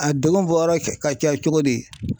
A degun bɔ yɔrɔ ka ca cogo di ?